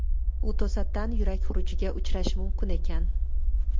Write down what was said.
U to‘satdan yurak xurujiga uchrashi mumkin ekan”.